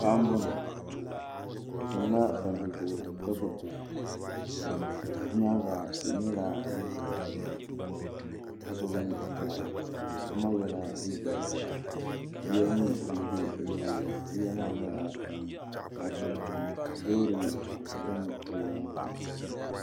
paɣa m-bɔŋɔ o tam la palli zuɣu ka gbubi baa bɛ nyaaga tihi nyɛla din zaya ka gbubi daɣu paɣa maa yela liiga ʒee yiya nyɛ din be o nyaaga yiya maa nyɛla zaɣ' piɛla loori n-tam palli ŋɔ zuɣu ŋɔ.